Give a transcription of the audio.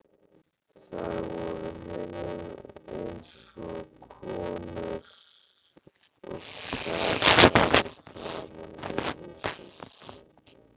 Þær voru honum eins kunnar og gatan framan við húsið.